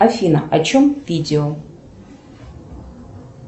афина о чем видео